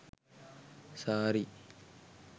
saree